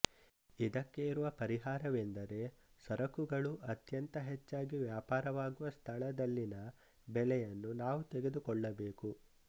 ಇದಕ್ಕೆ ಇರುವ ಪರಿಹಾರವೆಂದರೆ ಸರಕುಗಳು ಅತ್ಯಂತ ಹೆಚಾಗಿ ವ್ಯಾಪಾರವಾಗುವ ಸ್ಥಳದಲ್ಲಿನ ಬೆಲೆಯನ್ನು ನಾವು ತೆಗೆದುಕೊಳ್ಳಬೇಕು